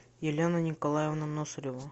елена николаевна носорева